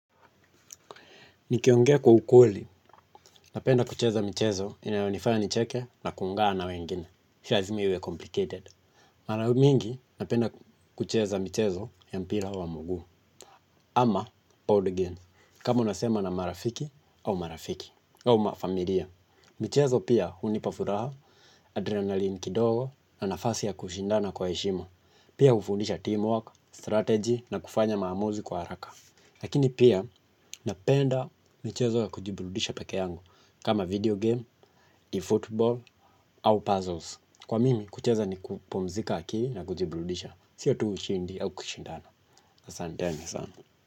Nikiongea kwa ukweli, napenda kucheza mchezo inayonifanya nicheke na kuungana na wengine, si lazima iwe complicated. Mara nyingi napenda kucheza mchezo ya mpira wa mguu, ama pool game, kama unasema na marafiki au marafiki, au mafamilia. Mchezo pia hunipa furaha, adrenaline kidogo na nafasi ya kushindana kwa heshima, pia hufundisha teamwork, strategy na kufanya maamuzi kwa haraka. Lakini pia napenda michezo ya kujiburudisha peke yangu kama video game, football au puzzles. Kwa mimi kucheza ni kupumzika akili na kujiburudisha. Sio tu ushindi au kushindana. Asanteni sana.